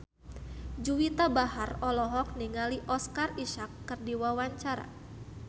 Juwita Bahar olohok ningali Oscar Isaac keur diwawancara